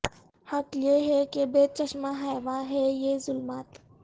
حق یہ ہے کہ بے چشمہ حیواں ہے یہ ظلمات